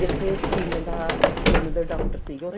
ਜਿਥੇ skin ਦਾ skin ਦੇ doctor ਸੀਗੇ